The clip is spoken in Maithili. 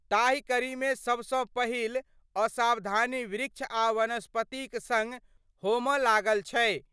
ताहि कड़ीमे सभसैं पहिल असावधानी वृक्ष आ वनस्पतिक सङ़ होमड लागल छै।